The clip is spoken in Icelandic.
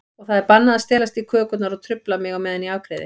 Og það er bannað að stelast í kökurnar og trufla mig á meðan ég afgreiði.